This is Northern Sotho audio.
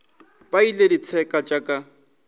ba lle ditseka tša ka